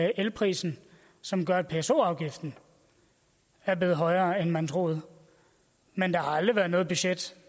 elprisen som gør at pso afgiften er blevet højere end man troede men der har aldrig været noget budget